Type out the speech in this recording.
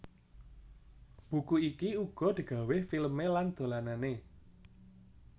Buku iki uga digawé filmé lan dolanané